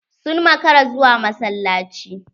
Sun maƙara zuwa massalaci.